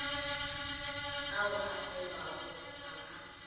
ao a kgewago ga a